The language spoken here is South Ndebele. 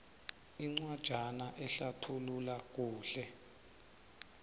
incwajana ehlathulula kuhle